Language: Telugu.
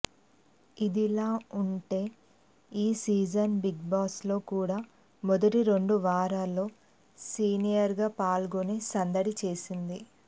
ఇదిలా ఉంటే ఈ సీజన్ బిగ్బాస్లో కూడా మొదటి రెండు వారాల్లో సీనియర్గా పాల్గొని సందడి చేసింది